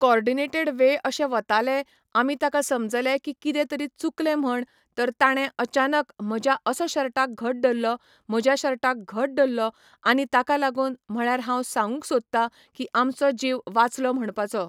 coordinated way अशे वताले आमी ताका समजले की किदे तरी चूकले म्हण तर तांणें अचानक म्हज्या असो शर्टाक घट धरलो म्हज्या शर्टाक घट धरलो आनी ताका लागून म्हळ्यार हांव सांगूंक सोदता की आमचो जीव वाचलो म्हणपाचो